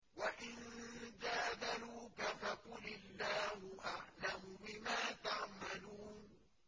وَإِن جَادَلُوكَ فَقُلِ اللَّهُ أَعْلَمُ بِمَا تَعْمَلُونَ